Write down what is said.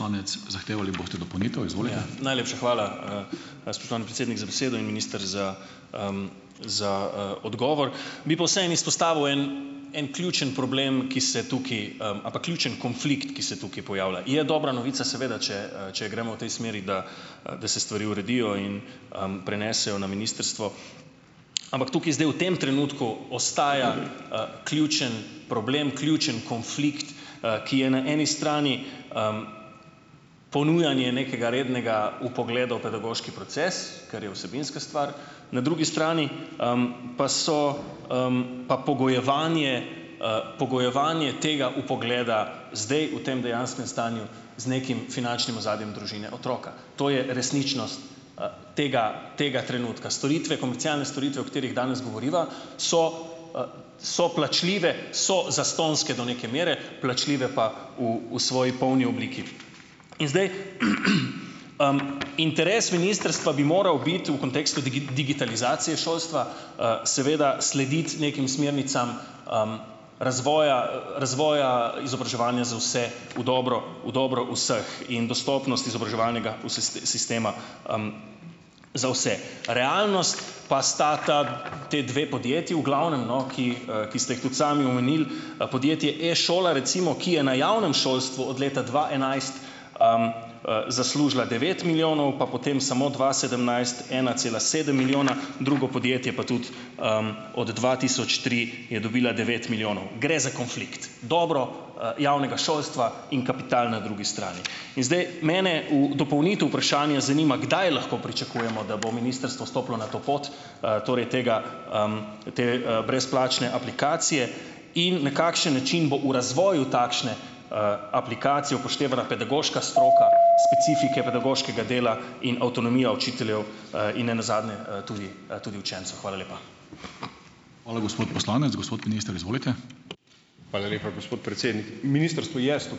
Najlepša hvala, spoštovani predsednik, za besedo in, minister, za, za, odgovor. Bi pa vseeno izpostavil en en ključen problem, ki se tukaj, a pa ključen konflikt, ki se tukaj pojavlja. Je dobra novica seveda, če, če gremo v tej smeri, da, da se stvari uredijo in, prenesejo na ministrstvo, ampak tukaj zdaj v tem trenutku ostaja, ključen problem, ključen konflikt, ki je na eni strani, ponujanje nekega rednega vpogleda v pedagoški proces, ker je vsebinska stvar, na drugi strani, pa so, pa pogojevanje, pogojevanje tega vpogleda zdaj v tem dejanskem stanju z nekim finančnim ozadjem družine otroka. To je resničnost, tega tega trenutka. Storitve, komercialne storitve, o katerih danes govoriva, so, so plačljive, so zastonjske do neke mere, plačljive pa v v svoji polni obliki. In zdaj, interes ministrstva bi moral biti v kontekstu digitalizacije šolstva, seveda slediti nekim smernicam, razvoja razvoja izobraževanja za vse v dobro, v dobro vseh in dostopnost izobraževalnega sistema, za vse. Realnost pa sta ta te dve podjetji, v glavnem, no, ki, ki ste jih tudi sami omenil, podjetje E-šola recimo, ki je na javnem šolstvu od leta dva enajst, zaslužila devet milijonov, pa potem samo dva sedemnajst ena cela sedem milijona, drugo podjetje pa tudi, od dva tisoč tri je dobila devet milijonov. Gre za konflikt. Dobro, javnega šolstva in kapital na drugi strani. In zdaj mene v dopolnitev vprašanja zanima, kdaj lahko pričakujemo, da bo ministrstvo stopilo na to pot, torej tega, te, brezplačne aplikacije in na kakšen način bo v razvoju takšne, aplikacije upoštevala pedagoško stroko, specifike pedagoškega dela in avtonomijo učiteljev, in ne nazadnje, tudi, tudi učencev. Hvala lepa.